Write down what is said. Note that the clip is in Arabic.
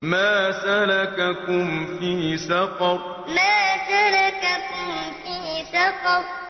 مَا سَلَكَكُمْ فِي سَقَرَ مَا سَلَكَكُمْ فِي سَقَرَ